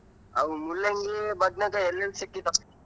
ಅವು ಮೂಲಂಗಿ, ಬದ್ನೇಕಾಯಿ ಎಲ್ಲಿಂದ ಸಿಕ್ಕಿತು?